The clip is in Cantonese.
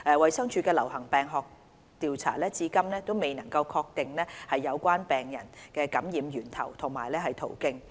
衞生署的流行病學調查至今未能確定有關病人的感染源頭及途徑。